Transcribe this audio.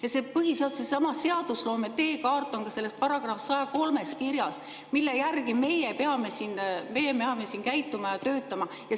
Ja see põhiseadus, seadusloome teekaart on ka selles §‑s 103 kirjas, mille järgi meie peame siin käituma ja töötama.